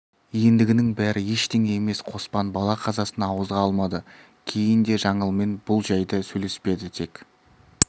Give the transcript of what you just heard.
ендігінің бәрі ештеңе емес қоспан бала қазасын ауызға алмады кейін де жаңылмен бұл жәйді сөйлеспеді тек